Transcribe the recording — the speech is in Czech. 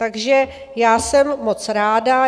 Takže já jsem moc ráda.